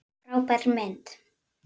Frábær mynd!